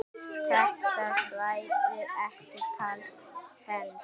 Þetta svæði er kallað Fens.